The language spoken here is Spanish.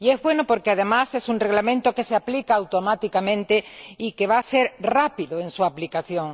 Y es bueno porque, además, es un Reglamento que se aplica automáticamente y que va a ser rápido en su aplicación.